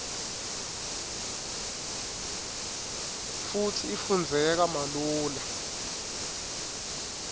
futsi ifundzeka malula